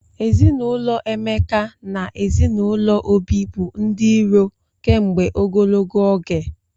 Ezinụlọ Emeka na ezinụlọ Obi bụ ndị iro kemgbe ogologo oge.